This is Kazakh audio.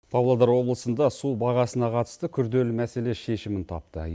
павлодар облысында су бағасына қатысты күрделі мәселе шешімін тапты